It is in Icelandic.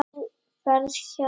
Þú ferð hjá